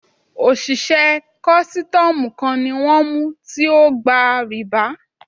Òṣìṣẹ́ kọ́sítọ́mù kan ni wọ́n mú tí ógba rìbá.